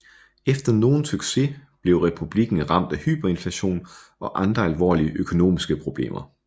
Efter nogen succes blev republikken ramt af hyperinflation og andre alvorlige økonomiske problemer